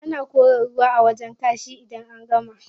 Ana kora ruwa a wajen kashi idan an gama.